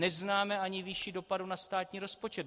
Neznáme ani výši dopadů na státní rozpočet.